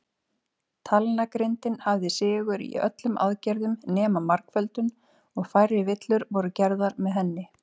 Talnagrindin hafði sigur í öllum aðgerðum nema margföldun, og færri villur voru gerðar með henni.